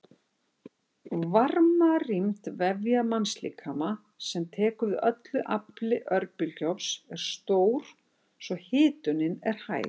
Varmarýmd vefja mannslíkama sem tekur við öllu afli örbylgjuofns er stór svo hitunin er hæg.